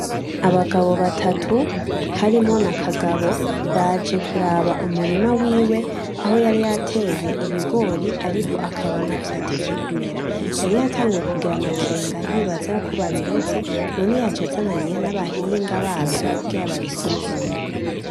Abagabo batatu harimwo na Kagabo baje kuraba umurima wiwe aho yari yateye ibigori ariko akabona vyatevye kumera yari yatanguye kugira amakenga yibaza yuko babiroze none yaje azananye n'abahinga bavyo kugira babisuzume.